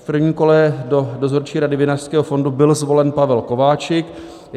V prvním kole do Dozorčí rady Vinařského fondu byl zvolen Pavel Kováčik.